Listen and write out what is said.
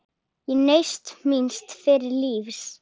Ég naut míns fyrra lífs.